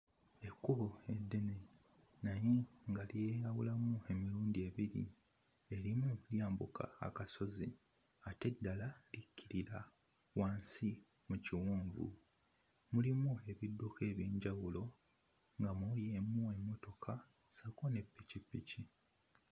Ekkubo eddene naye nga lyeyawulamu emirundi ebiri: erimu lyambuka akasozi ate eddala likkirira wansi mu kiwonvu. Mulimu ebidduka eby'enjawulo nga mulimu emmotoka ssaako ne pikipiki.